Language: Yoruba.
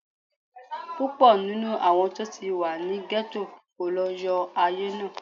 Púpọ̀ nínú àwọn tó ti wà ní gẹ́tò kọ́ ló yan ayé náà